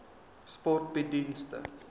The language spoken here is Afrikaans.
sport bied dienste